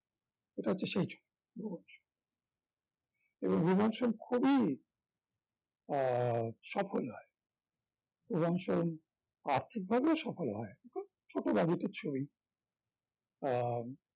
এটা হচ্ছে সেই ভুবন সোম এবং ভুবন সেন খুবই আহ সফল হয় এবং সেই আর্থিক ভাবেও সফল হয় খুব ছোট budget এর ছবি আহ